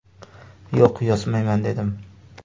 Yo‘q, yozmayman dedim.